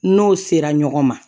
N'o sera ɲɔgɔn ma